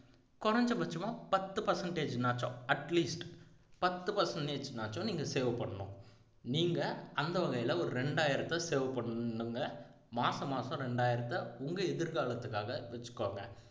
குறைஞ்சபட்சமா பத்து percentage னாச்சும் atleast பத்து percentage னாச்சும் நீங்க save பண்ணணும் நீங்க அந்த வகையில ஒரு ரெண்டாயிரத்தை save பண்ணுங்க மாச மாசம் ரெண்டாயிரத்தை உங்க எதிர்காலத்துக்காக வச்சுக்கோங்க